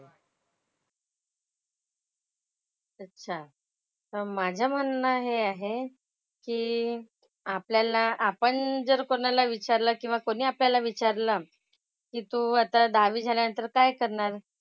अच्छा. तर माझं म्हणणं हे आहे की आपल्याला आपण जर कोणाला विचारलं किंवा कोणी आपल्याला विचारलं की तू आता दहावी झाल्यानंतर काय करणार.